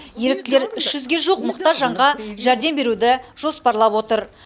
еріктілер үш жүзге жуық мұқтаж жанға жәрдем беруді жоспарлап отыр